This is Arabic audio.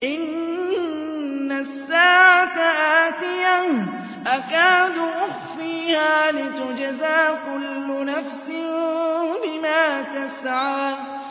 إِنَّ السَّاعَةَ آتِيَةٌ أَكَادُ أُخْفِيهَا لِتُجْزَىٰ كُلُّ نَفْسٍ بِمَا تَسْعَىٰ